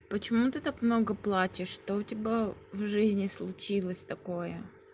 почему ты так много плачешь что у тебя в жизни случилось такое